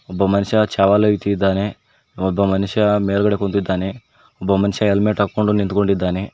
ಒಬ್ಬ ಮನಷ ಚಾವಲು ಇತಿದಾನೆ ಒಬ್ಬ ಮನಷ ಮೇಲ್ಗಡೆ ಕುಂತಿದ್ದಾನೆ ಒಬ್ಬ ಮನಷ ಹೆಲ್ಮೆಟ್ ಹಾಕೊಂಡು ನಿಂತಕೊಂಡಿದಾನೆ.